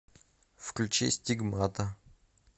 включи стигмата